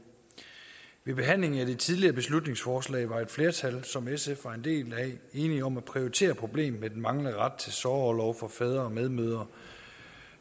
ved behandlingen af det tidligere beslutningsforslag var et flertal som sf var en del af enige om at prioritere problemet med den manglende ret til sorgorlov for fædre og medmødre